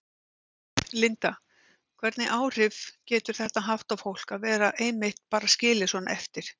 Linda: Hvernig áhrif getur þetta haft á fólk að vera einmitt bara skilið svona eftir?